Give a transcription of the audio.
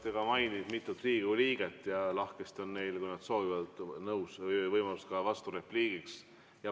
Te ka mainisite mitut Riigikogu liiget ja lahkesti on neil, kui nad soovivad, võimalus vasturepliigiks.